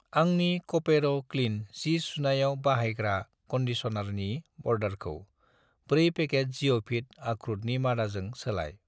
आंनि क'पेर' क्लिन सि सुनायाव बाहायग्रा कन्डिश'नारनि अर्डारखौ 4 पेकेट जिय'फिट अख्रुतनि मादाजों सोलाय।